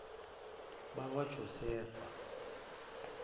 bakwajosefa